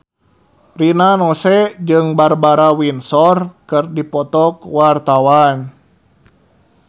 Rina Nose jeung Barbara Windsor keur dipoto ku wartawan